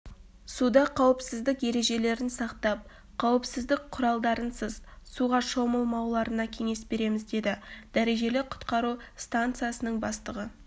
суда қауіпсіздік ережелерін сақтап қауіпсіздіқ құралдарынсыз суға шомылмауларына кеңес береміз деді дәрежелі құтқару станциясының бастығы